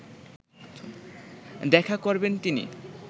দেখা করবেন তিনি